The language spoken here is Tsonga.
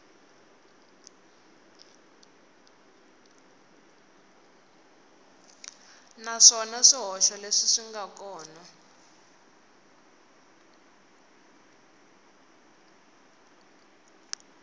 naswona swihoxo leswi nga kona